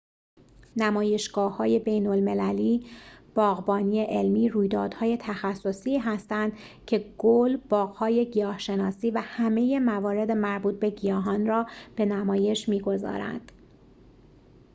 نمایشگاه‌های بین‌المللی باغبانی علمی رویدادهای تخصصی هستند که گل باغ‌های گیاه‌شناسی و همه موارد مربوط به گیاهان را به نمایش می‌گذارند